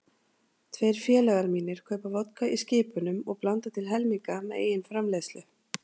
Tveir félagar mínir kaupa vodka í skipunum og blanda til helminga með eigin framleiðslu.